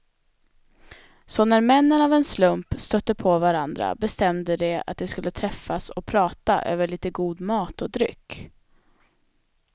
Så när männen av en slump stötte på varandra bestämde de att de skulle träffas och prata över lite god mat och dryck.